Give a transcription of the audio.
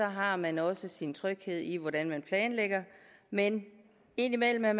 har man også sin tryghed i hvordan man planlægger men indimellem er